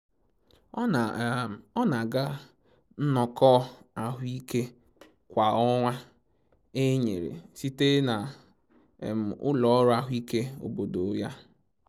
Ọ na-aga nnọkọ ahụike kwa ọnwa enyere site na ụlọ ọrụ ahụike obodo ya